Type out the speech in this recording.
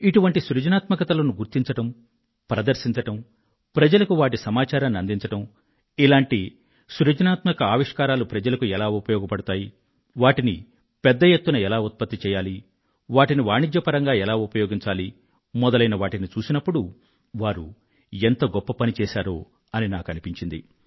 ఇటువంటి సృజనాత్మకతలను గుర్తించడం ప్రదర్శించడం ప్రజలకు వాటి సమాచారాన్ని అందించడం ఇలాంటి సృజనాత్మక ఆవిష్కారాలు ప్రజలకు ఎలా ఉపయోగపడతాయి వాటిని పెద్ద ఎత్తున ఎలా ఉత్పత్తి చెయ్యాలి వాటిని వాణిజ్యపరంగా ఎలా ఉపయోగించాలి మొదలైనవాటిని చూసినప్పుడు వారు ఎంత గొప్ప పని చేశారో అని నాకు అనిపించింది